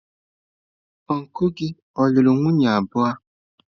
Ọncụl gị ọ̀ lụrụ nwunye abụọ?